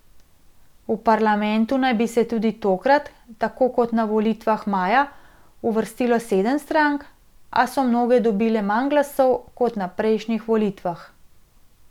V parlament naj bi se tudi tokrat, tako kot na volitvah maja, uvrstilo sedem strank, a so mnoge dobile manj glasov kot na prejšnjih volitvah.